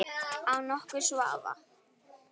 Án nokkurs vafa.